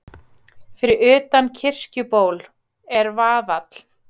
Fyrir utan Kirkjuból er vaðall.